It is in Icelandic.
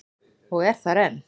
Og er þar enn.